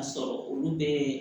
Ka sɔrɔ olu bɛ